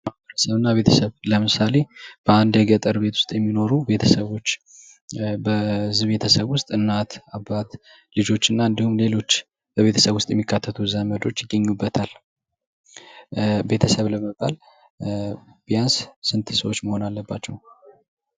ማህበረሰብ እና ቤተሰብ ፦ለምሳሌ በአንድ የገጠር ቤት ውስጥ የሚኖሩ ቤተሰቦች በዚህ ቤተሰብ ውስጥ እናት አባት ልጆችና እንዲሁም ሌሎች የቤተሰብ ውስጥ የሚካተቱ ዘመዶች ይገኙበታል። ቤተሰብ ለመባል ቢያንስ መሆን አለባቸው?